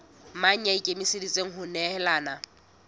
mang ya ikemiseditseng ho nehelana